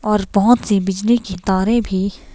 और बहोत सी बिजली कि तारे भी--